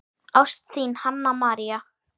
Ást, þín, Hanna María.